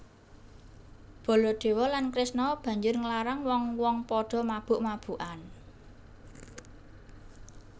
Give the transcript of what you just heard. Baladewa lan Kresna banjur nglarang wong wong padha mabuk mabukan